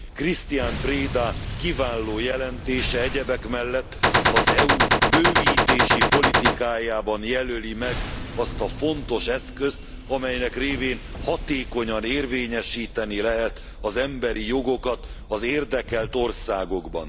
Cristian Preda kiváló jelentése egyebek mellett az EU bővítési politikájában jelöli meg azt a fontos eszközt, amelynek révén hatékonyan érvényesíteni lehet az emberi jogokat az érdekelt országokban.